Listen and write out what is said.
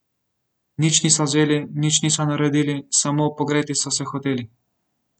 Nič niso vzeli, nič niso naredili, samo pogreti so se hoteli.